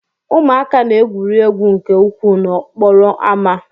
Ụmụaka na-egwuri egwu nke ukwuu n'okporo ámá.